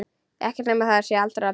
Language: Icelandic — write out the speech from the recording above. Ekkert nema það allra besta.